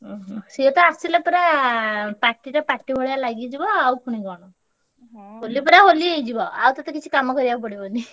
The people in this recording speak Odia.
ଉହୁଁ! ସିଏ ତ ଆସିଲେ ପୁରା party ତ party ଭଳିଆ ଲାଗିଯିବ ଆଉ ପୁଣି କଣ? ହୋଲି ପୁର ହୋଲି ହେଇ ଯିବ ଆଉ ତତେ କିଛିକାମ କରିବାକୁ ପଡ଼ିବନି।